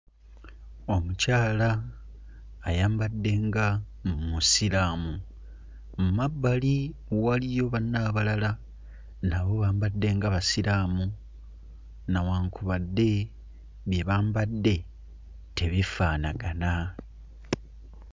Omukyala ayambadde nga Omusiraamu. Mu mabbali waliyo banne abalala nabo bambadde nga Basiraamu nawankubadde bye bambadde tebifaanagana.